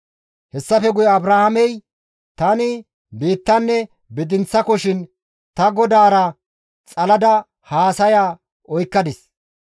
Hessafe guye Abrahaamey, «Tani biittanne bidinththakoshin ta Godaara xalada haasaya oykkadis.